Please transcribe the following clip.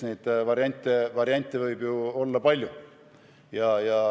Variante on olla palju.